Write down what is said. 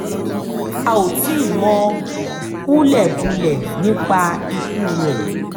a ò tíì mọ̀ hùlẹ̀búlẹ̀ nípa ikú rẹ̀